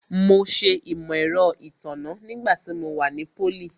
Mo ṣe Imọ-ẹrọ itanna nígbà tí mo wà ní pólì